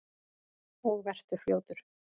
Og vertu fljótur.